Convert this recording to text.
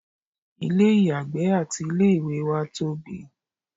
ilé ìyàgbẹ́ àti ilé ìwẹ̀ wá tóbi